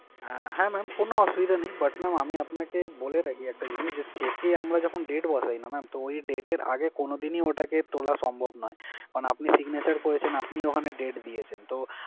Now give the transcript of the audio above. আহ হ্যাঁ mam কোন অসুবিধা নেই but mam আমি আপনাকে বলে রাখি একটা জিনিস যে, cheque এ আমরা যখন date বসাই না mam তো ওই date এর আগে কোনদিন ই ওটাকে তোলা সম্ভব নয়। এখন আপনি signature করেছেন, আপনিই ওখানে date দিয়েছেন তো